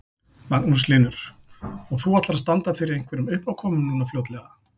Magnús Hlynur: Og þú ætlar að standa fyrir einhverjum uppákomum núna fljótlega?